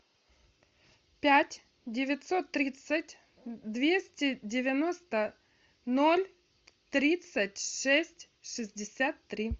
пять девятьсот тридцать двести девяносто ноль тридцать шесть шестьдесят три